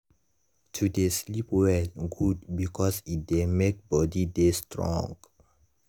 to dey sleep well good because e dey make body dey strong.